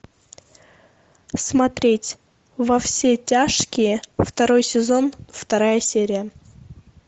смотреть во все тяжкие второй сезон вторая серия